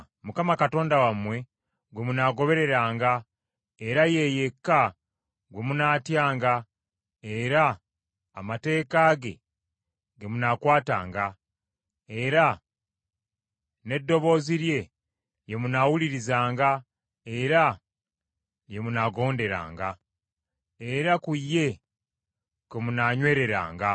Mukama Katonda wammwe gwe munaagobereranga, era ye yekka gwe munaatyanga, era amateeka ge, ge munaakwatanga, era n’eddoboozi lye, lye munaawulirizanga era lye munaagonderanga, era ku ye kwe munaanywereranga.